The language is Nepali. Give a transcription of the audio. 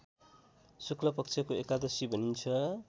शुक्लपक्षको एकादशी भनिन्छ